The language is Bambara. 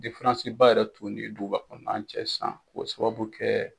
ba yɛrɛ t'u ni duguba kɔnɔna cɛ sisan k'o sababu kɛ